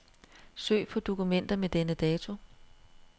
Søg på dokumenter med denne dato.